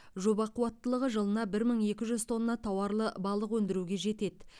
жоба қуаттылығы жылына бір мың екі жүз тонна тауарлы балық өндіруге жетеді